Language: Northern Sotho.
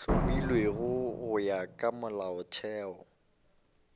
hlomilwego go ya ka molaotheo